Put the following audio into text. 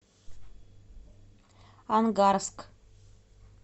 ангарск